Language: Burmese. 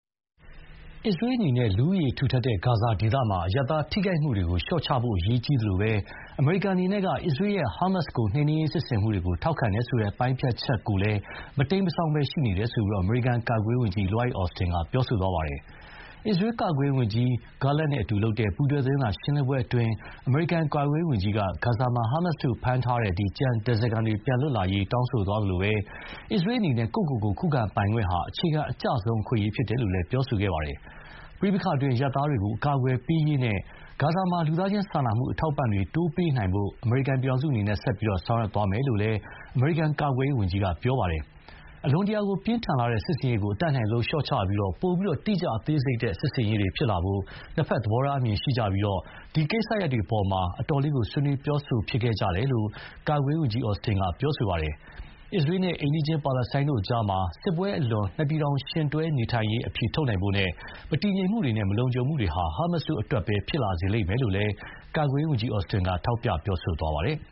အစ္စရေးအနေနဲ့ လူဦးရေထူထပ်တဲ့ဂါဇာဒေသမှာ အရပ်သားထိခိုက်မှုတွေကို လျှော့ချဖို့အရေးကြီးသလို အမေရိကန်အနေနဲ့က အစ္စရေးရဲ့ ဟာမတ်စ်ကိုနှိမ်နင်းစစ်ဆင်မှုတွေအပေါ် ထောက်ခံတယ်ဆိုတဲ့ ပိုင်းဖြတ်ချက်ကလည်း မတိမ်းမစောင်းရှိနေတယ်လို့ အမေရိကန်ကာကွယ်ရေးဝန်ကြီး Lloyd Austin က ပြောပါတယ်။ အစ္စရေးကာကွယ်ရေးဝန်ကြီး Yoav Gallant နဲ့ ပူးတွဲသတင်းစာရှင်းလင်းပွဲအတွင်း အမေရိကန်ကာကွယ်ရေးဝန်ကြီးက ဂါဇာမှာ ဟာမတ်စ်တို့ဖမ်းထားတဲ့ ကျန်ဓါးစာခံတွေ ပြန်လွတ်လာရေးတောင်းဆိုသွားသလို အစ္စရေးအနေနဲ့ ကိုယ့်ကိုကိုယ်ခုခံပိုင်ခွင့်ဟာ အခြေခံအကျဆုံးအခွင့်အရေးဖြစ်တယ်လို့ ပြောပါတယ်။ ပဋိပက္ခအတွင်း အရပ်သားတွေကို အကာအကွယ်ပေးရေးနဲ့ ဂါဇာမှာ လူသားချင်းစာနာမှုအထောက်အပံ့တွေ တိုးပေးနိုင်ဖို့ အမေရိကန်အနေနဲ့ ဆက်ပြီးဆောင်ရွက်သွားမယ်လို့လည်း အမေရိကန်ကာကွယ်ရေးဝန်ကြီးက ပြောပါတယ်။ အလွန်တရာပြင်းထန်လှတဲ့ စစ်ဆင်ရေးကို အတတ်နိုင်ဆုံးလျှော့ချပြီး ပိုပြီး တိကျအသေးစိတ်တဲ့ စစ်ဆင်ရေးတွေဖြစ်လာဖို့ နှစ်ဖက် သဘောထားအမြင်ရှိကြပြီး ဒီကိစ္စရပ်တွေအပေါ်မှာ အတော်လေးဆွေးနွေးပြောဆိုဖြစ်ခဲ့တယ်လို့ ကာကွယ်ရေးဝန်ကြီး Austin က ပြောပါတယ်။ အစ္စရေးနဲ့ အိမ်နီးချင်းပါလက်စတိုင်းတို့ကြား စစ်ပွဲအလွန်မှာ နှစ်ပြည်ထောင်ယှဉ်တွဲရပ်တည်ရေးအဖြေထုတ်ဖို့နဲ့ မတည်ငြိမ်မှုတွေနဲ့ မလုံခြုံမှုတွေဟာ ဟာမတ်စ်တို့အတွက်ပဲ ဖြစ်လာစေမယ်လို့လည်း ကာကွယ်ရေးဝန်ကြီး Austin က ထောက်ပြပြောဆိုပါတယ်။